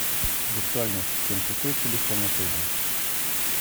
виртуальный ассистент какой телефон отеля